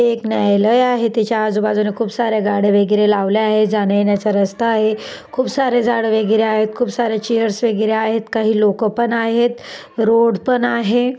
हे एक न्यायालय आहे. त्याच्या आजूबाजूला खूप सारे गाड्या वगैरे लावल्या आहेत. जाण्यायेण्याचा रस्ता आहे. खूप सारे झाड वगैरे आहेत. खूप सारे चेअर्स वगैरे आहेत. काही लोक पण आहेत. रोड पण आहे.